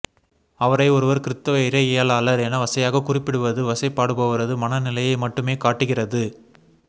அவரை ஒருவர் கிறித்தவ இறையியலாளர் என வசையாக குறிப்பிடுவது வசைபாடுபவரது மனநிலையை மட்டுமே காட்டுகிறது